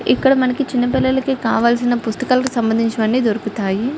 ఇక్కడ మనకి చిన్నపిల్లలకి కావాల్సిన పుస్తకాలకు సంబంధించినవి అని దొరుకుతాయి.